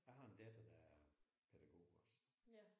Jeg har en datter der er pædagog også